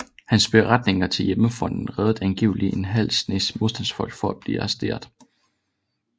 Hans beretninger til Hjemmefronten reddede angiveligt en halv snes modstandsfolk fra at blive arresteret